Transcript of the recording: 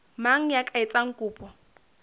mang ya ka etsang kopo